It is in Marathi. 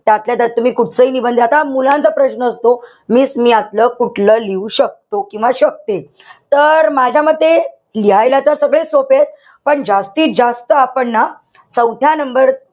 त आपल्याला जास्त कुठचाही निबंध आता मुलांचा प्रश्न असतो, miss मी यातलं कुठलं लिहू शकतो? किंवा शकते? तर माझ्यामते लिहायला तर सगळेच सोपेय. पण जास्तीत जास्त आपण ना चौथ्या number,